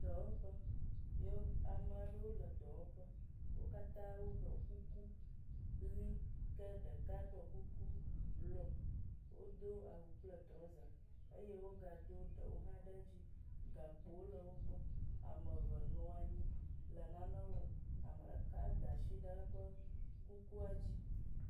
Dɔwɔƒe, ame aɖewo le dɔwɔƒe. Wo katã woɖɔ kuku ʋi ke ɖeka ɖɔ kuku blɔ. Wodo awu kple trɔza eye wogado ɖewo hã ɖe edzi. Gakpowo le wogbɔ. Ame eve nɔ anyi le nane wɔm. Ame ɖeka da asi ɖe eƒe kukua dzi.